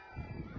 Qol!